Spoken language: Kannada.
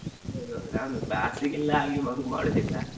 ಹೌದು ನಾನು class ಗೆಲ್ಲಾ ಹಾಗೆ ಮಾಡು~ ಮಾಡುವುದಿಲ್ಲಾ.